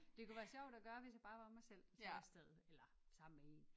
Det kunne være sjovt at gøre hvis jeg bare var mig selv der tog afsted eller sammen med en